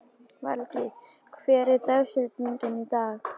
Valgý, hver er dagsetningin í dag?